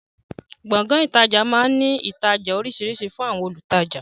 Gbọ̀ngán ìtajà máa ń ní yàrá ìtajà oríṣiríṣi fún àwọn olùtajà